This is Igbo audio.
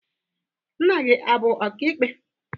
Nna gị abụ ọka ikpe?